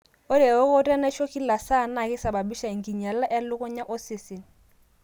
Ore ewokoto enaisho kila saa naa keisababisha enkinyialata elukunya osesen.